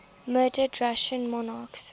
murdered russian monarchs